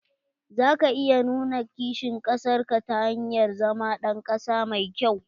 Za ka iya nuna kishin kasar ka ta hanyar zama ɗan ƙasa mai kyau.